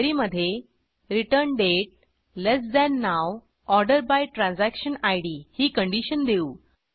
query मधे return date less than now order by transaction Id ही condition देऊ